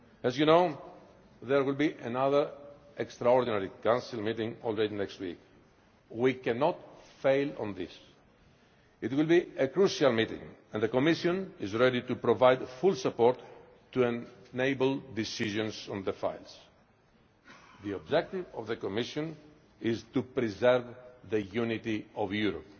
As you know, there will be another extraordinary Council meeting already next week. We cannot fail on this. It will be a crucial meeting and the Commission is ready to provide full support to enable decisions on the files. The objective of the Commission is to preserve the unity of Europe.